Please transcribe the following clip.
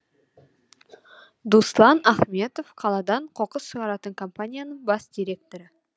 дуслан ахметов қаладан қоқыс шығаратын компанияның бас директоры